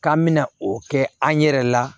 K'an me na o kɛ an yɛrɛ la